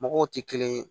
Mɔgɔw tɛ kelen ye